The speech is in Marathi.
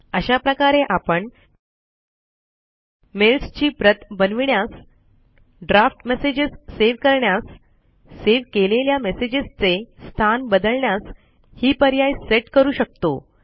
अशा प्रकारे आपण मेल्स ची प्रत बनविण्यास ड्राफ्ट मेसेजेस सेव करण्यास सेव केलेल्या मेसेजेस चे स्थान बदलण्यास हि पर्याय सेट स्थित करू शकतो